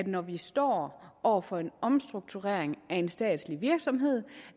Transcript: når vi står over for en omstrukturering af en statslig virksomhed